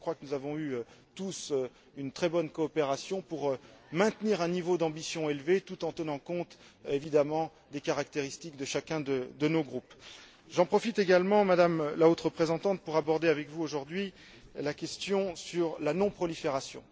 Nous avons tous eu une très bonne coopération pour maintenir un niveau d'ambition élevé, tout en tenant compte, évidemment, des caractéristiques de chacun de nos groupes. J'en profite également, Madame la Haute représentante, pour aborder avec vous aujourd'hui la question de la non prolifération.